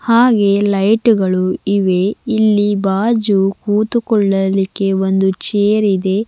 ಹಾಗೆ ಲೈಟ್ಗಳು ಇವೆ ಇಲ್ಲಿ ಬಾಜು ಕೂತುಕೊಳ್ಳಲಿಕ್ಕೆ ಒಂದು ಚೇರ್ ಇದೆ.